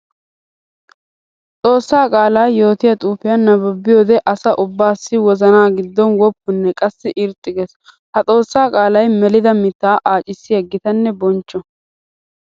Xoosa qaala yootiya xuufiya nabbabiyoode asaa ubbassi wozana gidon woppunne qassikka irxxi geesi. Ha xoosa qaalay melidda mitta aaccissiya gitanne bonchcho.